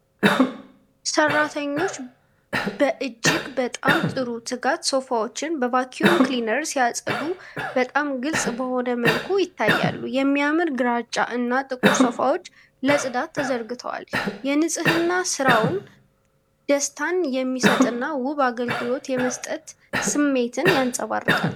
ሠራተኞች በእጅግ በጣም ጥሩ ትጋት ሶፋዎችን በቫክዩም ክሊነር ሲያጸዱ በጣም ግልጽ በሆነ መልኩ ይታያሉ። የሚያምር ግራጫ እና ጥቁር ሶፋዎች ለጽዳት ተዘርግተዋል። የንጽህና ሥራው ደስታን የሚሰጥና ውብ አገልግሎት የመስጠት ስሜትን ያንፀባርቃል።